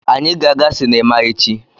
Anyị ga-aga sinima echi.